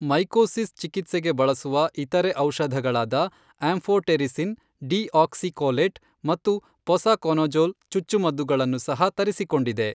Mycosis ಚಿಕಿತ್ಸೆಗೆ ಬಳಸುವ ಇತರೆ ಔಷಧಗಳಾದ ಆಂಫೊಟೆರಿಸಿನ್ ಡಿಆಕ್ಸಿಕೊಲೇಟ್ ಮತ್ತು ಪೊಸಕೊನಜೊಲ್ ಚುಚ್ಚುಮದ್ದುಗಳನ್ನು ಸಹ ತರಿಸಿಕೊಂಡಿದೆ.